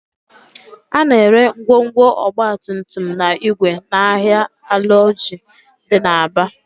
A na-ere ngwongwo ọgbatumtum na igwe n'ahịa Alaoji dị n'Aba